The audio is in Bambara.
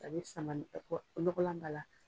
A bɛ sama ɔgɔlan b'a la.